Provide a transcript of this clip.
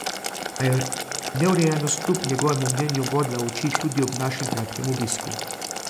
A je neurejenost kljub njegovemu mnenju bodla v oči tudi ob našem kratkem obisku.